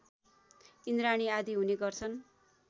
इन्द्राणी आदि हुने गर्छन्